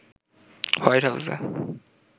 white হাউসে